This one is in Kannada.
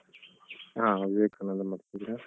ಹಾ ವಿವೇಕಾನಂದಲ್ಲ್ ಮಾಡ್ತಿದ್ದೀರಾ?